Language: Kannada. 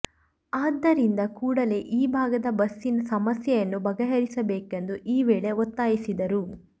ಆದ್ದರಿಂದ ಕೂಡಲೇ ಈ ಭಾಗದ ಬಸ್ಸಿನ ಸಮಸ್ಯೆಯನ್ನು ಬಗೆಹರಿಸಬೇಕೆಂದು ಈ ವೇಳೆ ಒತ್ತಾಯಿಸಿದರು